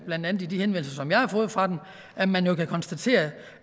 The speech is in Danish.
blandt andet i de henvendelser som jeg har fået fra dem at man jo kan konstatere